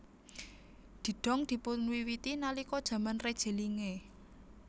Didong dipunwiwiti nalika jaman Reje Linge